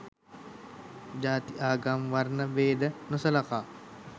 ජාති ආගම වර්ණ බේද නොසලකා